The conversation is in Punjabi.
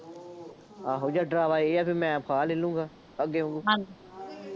ਆਹੋ ਜਾਂ ਡਰਾਵਾ ਇਹ ਆ ਬਈ ਮੈਂ ਫਾਹਾ ਲੈ ਲਊਂਗਾ, ਅੱਗੇ ਹੁਣ